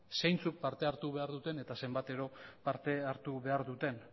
zeintzuk parte hartu behar duten eta zenbatero parte hartu behar duten